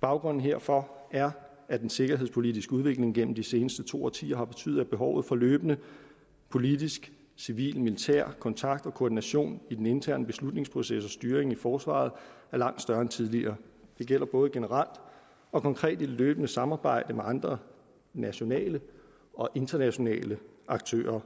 baggrunden herfor er at den sikkerhedspolitiske udvikling gennem de seneste to årtier har betydet at behovet for løbende politisk civil militær kontakt og koordination i den interne beslutningsproces og styring i forsvaret er langt større end tidligere det gælder både generelt og konkret i det løbende samarbejde med andre nationale og internationale aktører